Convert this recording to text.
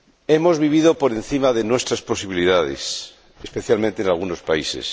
Hemos vivido por encima de nuestras posibilidades, especialmente en algunos países.